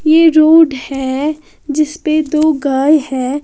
यह रोड है जिस पे दो गाय हैं।